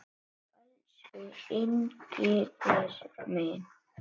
Já, elsku Engifer minn.